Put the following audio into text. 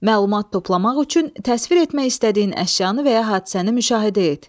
Məlumat toplamaq üçün təsvir etmək istədiyin əşyanı və ya hadisəni müşahidə et.